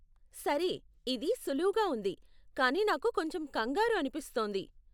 సరే, ఇది సులువుగా ఉంది కాని నాకు కొంచెం కంగారు అనిపిస్తోంది.